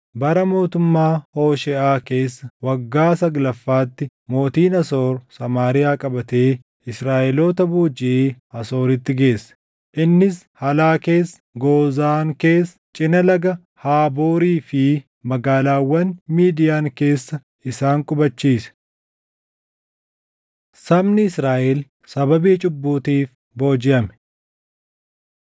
Bara mootummaa Hoosheeʼaa keessa waggaa saglaffaatti mootiin Asoor Samaariyaa qabatee Israaʼeloota boojiʼee Asooritti geesse. Innis Halaa keessa, Goozaan keessa, cina Laga Haaboorii fi magaalaawwan Midiyaan keessa isaan qubachiise. Sabni Israaʼel Sababii Cubbuutiif Boojiʼame